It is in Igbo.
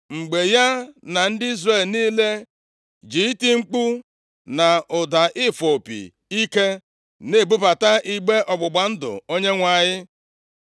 mgbe ya na ndị Izrel niile ji iti mkpu na ụda ịfụ opi ike na-ebubata igbe ọgbụgba ndụ Onyenwe anyị.